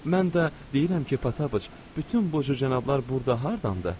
Mən də deyirəm ki, Pataş, bütün bu cənablar burda hardandır?